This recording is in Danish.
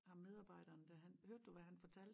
Ham medarbejderen dér han hørte du hvad han fortalte?